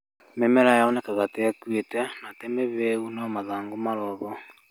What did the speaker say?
Mĩmera yonekaga teĩkuĩte na tĩmĩhĩu no mathangũ marĩoho.